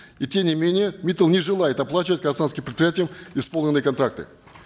и тем не менее миттал не желает оплачивать казахстанским предприятиям исполненные контракты